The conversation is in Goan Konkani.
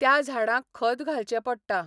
त्या झाडांक खत घालचें पडटा.